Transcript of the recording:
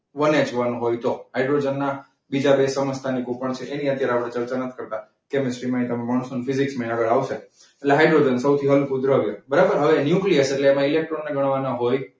one H one તો હાઈડ્રોજનના બીજા બે સમસ્થાનિકો છે એની આપણે અત્યારે ચર્ચા નથી કરતા. એટલે હાઈડ્રોજન સૌથી હલકો દ્રવ્ય બરાબર. હવે ન્યુક્લિયસ એટલે એમાં ઇલેક્ટ્રોન મેળવવાના હોય.